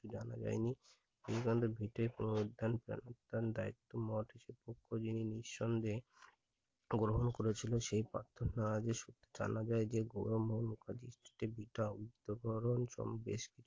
জানা যায়নি দায়িত্ব মুখ খোলেনি নিঃসন্দেহে গ্রহণ করেছিল সে জানা যাই যে উত্তকরণ বেশ কিছু